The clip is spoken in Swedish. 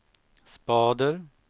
spader